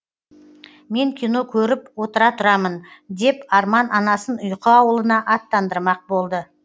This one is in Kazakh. мен кино көріп отыра тұрамын деп арман анасын ұйқы аулына аттандырмақ болды